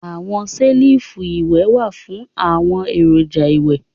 Awọn selifu iwẹ wa fun awọn eroja iwẹ